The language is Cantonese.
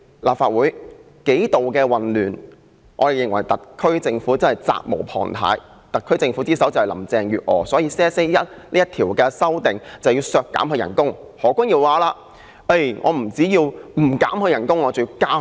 立法會為此數度出現混亂，我們認為特區政府是責無旁貸，而特區之首是林鄭月娥，所以修正案編號1就是要削減她的薪酬。